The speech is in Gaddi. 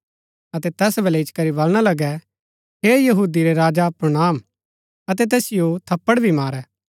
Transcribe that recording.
अतै तैस बलै इच्ची करी बलणा लगै हे यहूदी रै राजा प्रणाम अतै तैसिओ थप्पड़ भी मारै